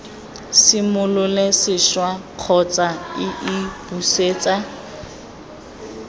simolole sešwa kgotsa iii busetsa